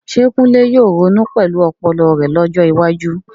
Ṣé Kunle yóò ronú pẹ̀lú ọpọlọ rẹ̀ lọ́jọ́ iwájú?